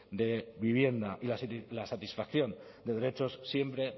de vivienda y la satisfacción de derechos siempre